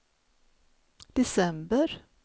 december